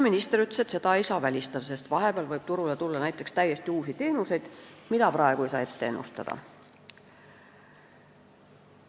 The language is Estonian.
Minister ütles, et seda ei saa välistada, sest vahepeal võib turule tulla täiesti uusi teenuseid, mida praegu ei saa ette ennustada.